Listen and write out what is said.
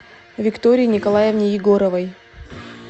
виктории николаевне егоровой